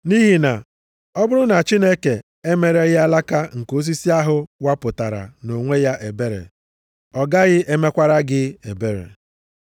Nʼihi na ọ bụrụ na Chineke emereghị alaka nke osisi ahụ wapụtara nʼonwe ya ebere, ọ gaghị emekwara gị ebere.